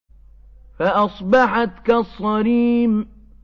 فَأَصْبَحَتْ كَالصَّرِيمِ